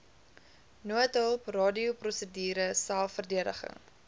noodhulp radioprosedure selfverdediging